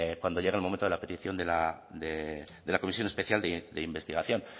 cuando llegue el momento de la petición de la comisión especial de investigación